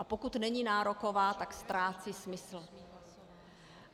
A pokud není nároková, tak ztrácí smysl.